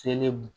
Selemu